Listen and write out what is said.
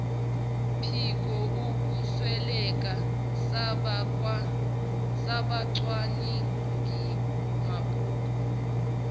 phiko ukwesweleka sabacwaningimabhuku